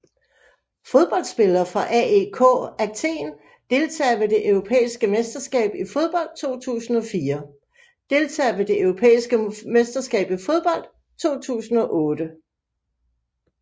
Fodboldspillere fra AEK Athen Deltagere ved det europæiske mesterskab i fodbold 2004 Deltagere ved det europæiske mesterskab i fodbold 2008